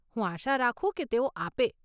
હું આશા રાખું કે તેઓ આપે.